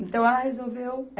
Então, ela resolveu.